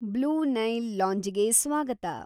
Blue Nile ಲಾಂಜಿಗೆ ಸ್ವಾಗತ.